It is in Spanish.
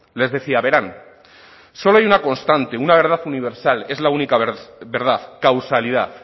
les decía verán solo hay una constante una verdad universal es la única verdad causalidad